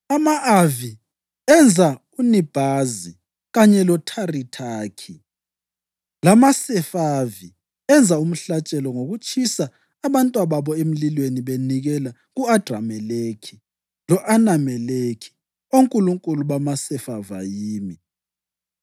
ama-Avi enza uNibhazi kanye loTharithaki, lamaSefavi enza umhlatshelo ngokutshisa abantwababo emlilweni benikela ku-Adrameleki lo-Anameleki, onkulunkulu bamaSefavayimi.